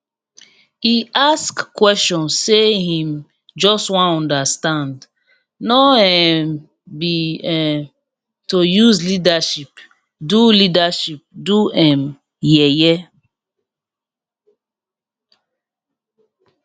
e ask question say him just wan understand no um be um to use leadership do leadership do um yeye